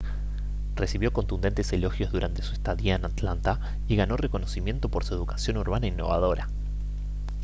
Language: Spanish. recibió contundentes elogios durante su estadía en atlanta y ganó reconocimiento por su educación urbana innovadora